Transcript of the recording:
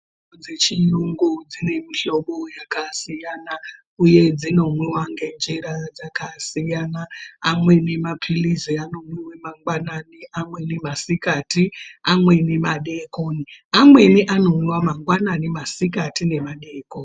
Mitombo dzechiyungu dzine mihlobo yakasiyana uye dzinomwiwa ngenjira dzakasiyana amweni mapirirzi anomwiwa mangwanani amweni masikati amweni madekoni amweni anomwiwa mangwanani masikati nemadekoni.